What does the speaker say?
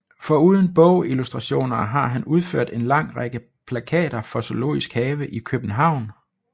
Foruden bogillustrationer har han udført en lang række plakater for Zoologisk Have i København